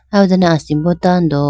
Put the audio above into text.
aw ho dane asimbo tando.